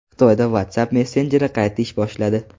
Xitoyda WhatsApp messenjeri qayta ish boshladi.